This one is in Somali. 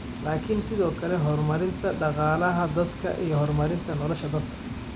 laakiin sidoo kale horumarinta dhaqaalaha dalka iyo horumarinta nolosha dadka.